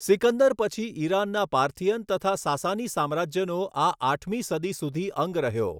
સિકંદર પછી ઈરાનના પાર્થિયન તથા સાસાની સામ્રાજ્યનો આ આઠમી સદી સુધી અંગ રહ્યો.